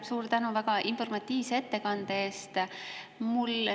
Suur tänu väga informatiivse ettekande eest!